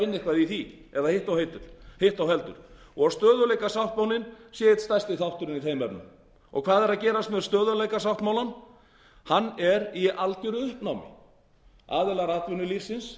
og verið sé að vinna eitthvað í því og stöðugleikasáttmálinn sé einn besti þátturinn í þeim efnum hvað er að gerast með stöðugleikasáttmálann hann er í algeru uppnámi aðilar atvinnulífsins